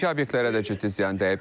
Mülki obyektlərə də ciddi ziyan dəyib.